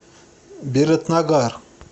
биратнагар